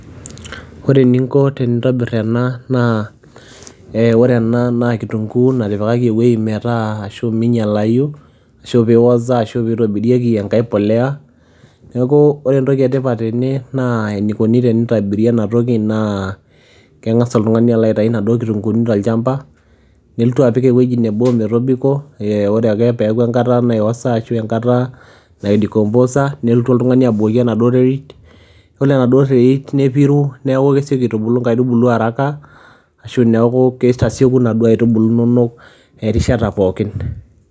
Ore eninko tenintobir ena naa ee ore ena naa kitung'uu natipikaki ewuei metaa ashu minyalayu ashu piioza ashu piitobirieki enkae polea. Neeku ore entoki e tipat tene naa enikuni tenitobiri ena toki naa keng'asa oltung'ani alo aitayu inaduo kitung'uuni tolchamba neltu apik ewuei nebo metobiko ee ore ake peeku enkata naiosa ashu enkata naidecomposa neltu oltung'ani abukoki enaduo terit, iyiolo enaduo terit nepiru, neeku kesioki aitubulu nkaitubulu haraka ashu neeku kitasieku inaduo aitubulu inonok erishata pookin.